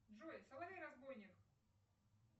джой соловей разбойник